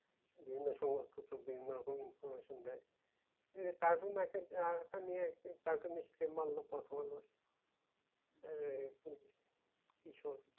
বিভিন্ন সময় বিভিন্ন রকম information দেয় কাটুনে আর একটা মেয়ে আছে cartoonist কে মারলো